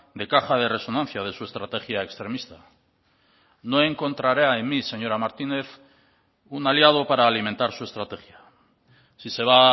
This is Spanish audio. de caja de resonancia de su estrategia extremista no encontrará en mí señora martínez un aliado para alimentar su estrategia si se va